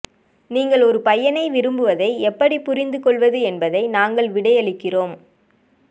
நீங்கள் ஒரு பையனை விரும்புவதை எப்படி புரிந்துகொள்வது என்பதை நாங்கள் விடையளிக்கிறோம்